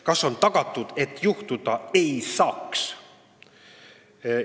Kas on tagatud, et midagi juhtuda ei saa?